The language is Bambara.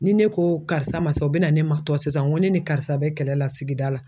Ni ne ko karisa ma sa, u bɛna ne ma tɔ sisan n ko ne ni karisa bɛ kɛlɛ la sigida la.